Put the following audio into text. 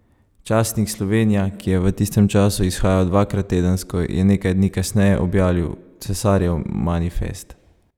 Časnik Slovenija, ki je v tistem času izhajal dvakrat tedensko, je nekaj dni kasneje objavil cesarjev manifest.